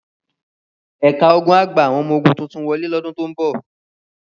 Ẹ̀ka ogun á gba àwọn ọmọ ogun tuntun wọlé lọ́dún tó ń bọ̀.